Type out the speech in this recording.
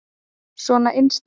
Svona innst inni.